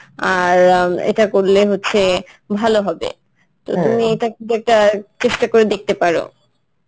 আর অ্যাঁ এটা করলে হচ্ছে ভালো হবে তো তুমি এটা কিন্তু একটা চেষ্টা করে দেখতে পারো.